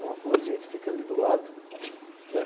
É uma ruazinha que fica ali do lado, né?